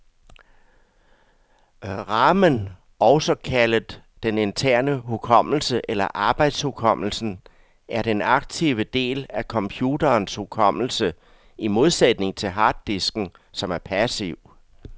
Ramen, også kaldet den interne hukommelse eller arbejdshukommelsen, er den aktive del af computerens hukommelse, i modsætning til harddisken, som er passiv.